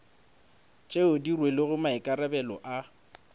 tšeo di rwelego maikarabelo a